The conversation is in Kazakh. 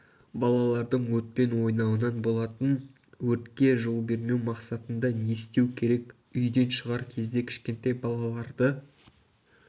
балалардың отпен ойнауынан болатын өртке жол бермеу мақсатында не істеу керек үйден шығар кезде кішкентай балаларды